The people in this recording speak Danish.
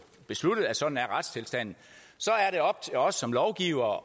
besluttet at sådan er retstilstanden så er det op til os som lovgivere